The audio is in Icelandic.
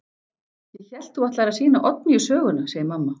Ég hélt þú ætlaðir að sýna Oddnýju söguna, segir mamma.